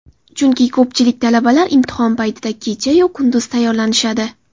Chunki ko‘pchilik talabalar imtihon paytida kecha-yu kunduz tayyorlanishadi.